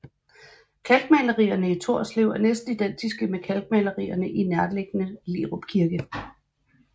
Kalkmalerierne i Torslev er næsten identiske med kalkmalerierne i den nærliggende Lerup Kirke